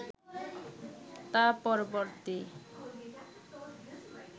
তা পরবর্তী